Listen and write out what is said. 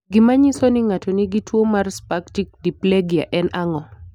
Gik manyiso ni ng'ato nigi tuo mar spastic diplegia en ang'o?